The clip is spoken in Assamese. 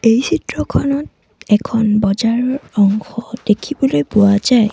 এই চিত্ৰখনত এখন বজাৰৰ অংশ দেখিবলৈ পোৱা যায়।